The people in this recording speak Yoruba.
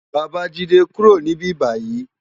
Babajide kúró ni bibáyi